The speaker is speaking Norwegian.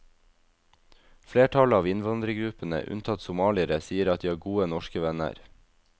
Flertallet av innvandrergruppene, unntatt somaliere, sier at de har gode norske venner.